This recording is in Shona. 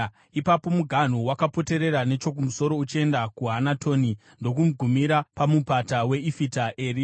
Ipapo muganhu wakapoterera nechokumusoro uchienda kuHanatoni ndokugumira paMupata weIfita Eri.